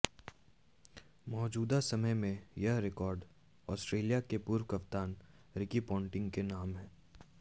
मौजूदा समय में यह रिकॉर्ड ऑस्ट्रेलिया के पूर्व कप्तान रिकी पोंटिंग के नाम है